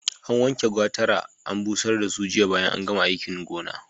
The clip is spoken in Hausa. An wanke gwatara an busar da su jiya bayan an gama aikin gona.